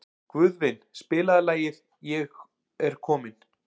Guðvin, spilaðu lagið „Ég er kominn“.